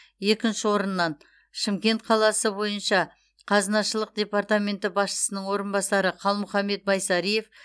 екінші орыннан шымкент қаласы бойынша қазынашылық департаменті басшысының орынбасары қалмұханбет байсариев